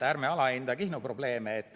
Ärme alahinda Kihnu probleeme!